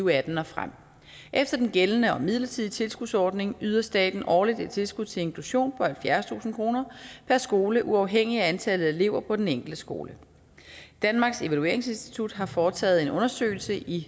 og atten og frem efter den gældende og midlertidige tilskudsordning yder staten årligt et tilskud til inklusion på halvfjerdstusind kroner per skole uafhængig af antallet af elever på den enkelte skole danmarks evalueringsinstitut har foretaget en undersøgelse i